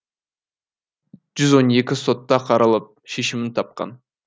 жүз он екі сотта қаралып шешімін тапқан